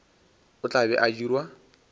o tla be a dirwa